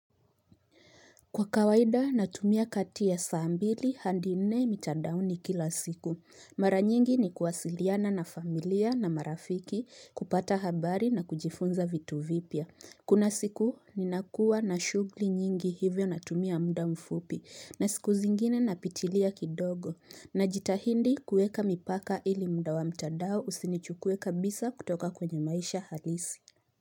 Kwa kawaida natumia kati ya saa mbili handi nne mitandaoni kila siku. Mara nyingi ni kuwasiliana na familia na marafiki kupata habari na kujifunza vitu vipya. Kuna siku ni nakuwa na shugli nyingi hivyo natumia mda mfupi na siku zingine napitilia kidogo. Na jitahindi kueka mipaka ili mda wa mitandao usinichukue kabisa kutoka kwenye maisha halisi.